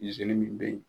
min bɛ yen